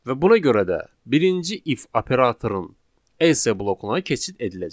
Və buna görə də birinci if operatorun else blokuna keçid ediləcək.